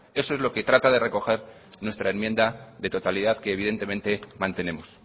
eso es lo que trata de recoger nuestra enmienda de totalidad que evidentemente mantenemos